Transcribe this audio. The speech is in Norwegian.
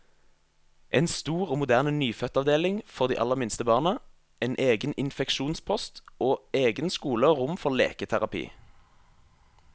En stor og moderne nyfødtavdeling for de aller minste barna, en egen infeksjonspost, og egen skole og rom for leketerapi.